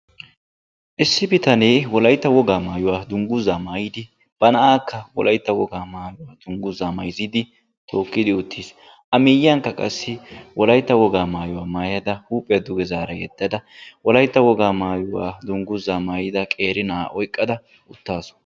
issi bitanee wolaytta wogaa maayuwa maayidi issi na'aa tookidi utiis. issi na'iyakka qassi wolaytta wogaa maayuwa danguzaa maayada utaasu.